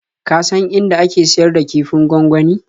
Ka san inda ake siyar da kifin gwangwani?